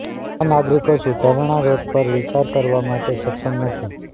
આ નાગરિકો સુધારણા રોડ પર વિચાર કરવા માટે સક્ષમ નથી